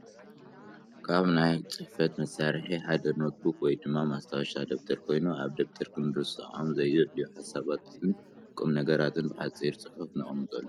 ካብ ናይ ፅሕፈት መሳርሒ ሓደ ኖት ቡክ ወይ ድማ ማስታወሻ ደብተር ኮይኑ ኣብ ደብተር ክንርሰዖም ዘየድልዩ ሓሳባትን ቁምነገራትን ብሓፂር ፅሑፍ ነቐምጠሉ እዩ፡፡